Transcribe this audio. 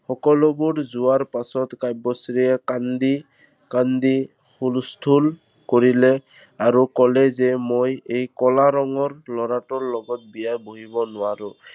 সকলোবোৰ যোৱাৰ পাছত কাব্যশ্ৰীয়ে কান্দি কান্দি হুলস্থুল কৰিলে আৰু কলে যে মই এই কলা ৰঙৰ ল'ৰাটোৰ লগত বিয়াত বহিব নোৱাৰো।